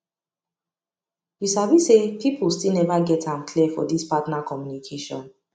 you sabi say people still never get am clear for this partner communication